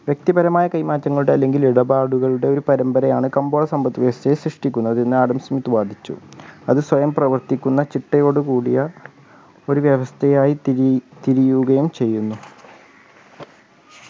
വ്യക്തിപരമായ കൈമാറ്റങ്ങളുടെ അല്ലെങ്കിൽ ഇടപാടുകളുടെ ഒരു പരമ്പരയാണ് കമ്പോള സമ്പത്ത് വ്യവസ്ഥയെ സൃഷ്ടിക്കുന്നത് എന്ന് ആഡം സ്‌മിത്ത്‌ വാദിച്ചു അത് സ്വയം പ്രവർത്തിക്കുന്ന ചിട്ടയോടു കൂടിയ ഒരു വ്യവസ്ഥയായി തിരി തിരിയുകയും ചെയ്യുന്നു